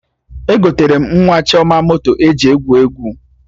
Egotere m nwa Chioma moto eji egwu egwu